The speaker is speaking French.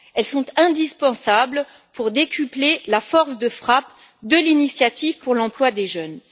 Elles sont indispensables pour décupler la force de frappe de l'initiative pour l'emploi des jeunes.